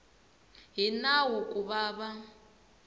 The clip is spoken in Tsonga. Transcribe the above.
hi nawu ku va va